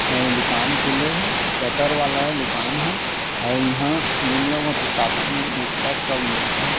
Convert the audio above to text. अउ दुकान खुले हे शटर वाला ए दुकान ह अउ इहा दुनिया भर के कॉपी पेन पुस्तक सब मिलथे।